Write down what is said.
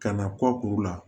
Ka na kɔ kuru la